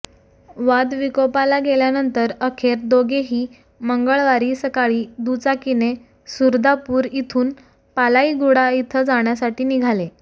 वाद विकोपाला गेल्यानंतर अखेर दोघेही मंगळवारी सकाळी दुचाकीने सुरदापूर इथून पालाईगुडा इथं जाण्यासाठी निघाले